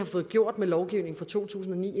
får gjort med lovgivningen fra to tusind og ni